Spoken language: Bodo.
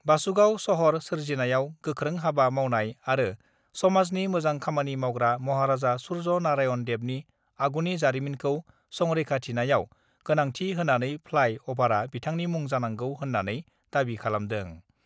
बासुगाव सहर सोरजिनायाव गोख्रोंहाबा मावनाय आरो समाजनि मोजां खामानि मावग्रा महाराजा सुर्य नारायन देबनि आगुनि जारिमिनखौ सरैखाथिनायाव गोनांथि होनानै फ्लाइ अभारआ बिथांनि मुं जानांगौ होन्नानै दाबि खालामदों।